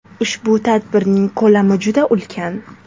Ushbu tadbirning ko‘lami juda ulkan.